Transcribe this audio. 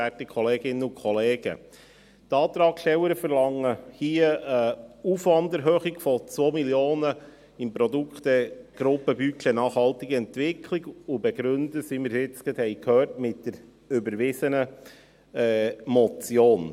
Die Antragstellerinnen verlangen hier eine Aufwanderhöhung von 2 Mio. Franken im Produktegruppen-Budget «Nachhaltige Entwicklung», und begründen dies, wie wir gerade gehört haben, mit der überwiesenen Motion.